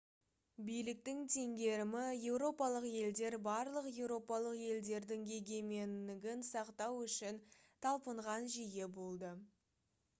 биліктің теңгерімі еуропалық елдер барлық еуропалық елдердің егеменігін сақтау үшін талпынған жүйе болды